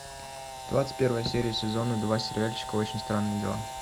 двадцать первая серия сезона два сериальчика очень странные дела